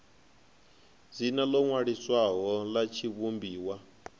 dzina ḽo ṅwaliswaho ḽa tshivhumbiwa